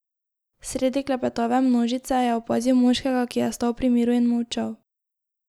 Sredi klepetave množice je opazil moškega, ki je stal pri miru in molčal.